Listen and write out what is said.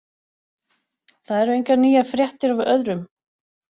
Það eru engar nýjar fréttir af öðrum.